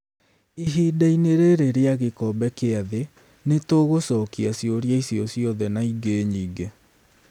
Ihinda-inĩ rĩrĩ rĩa gĩkombe kĩa thĩ, nĩ tũgũcokia ciũria icio ciothe na ingĩ nyingĩ.